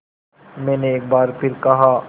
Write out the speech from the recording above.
मैंने एक बार फिर कहा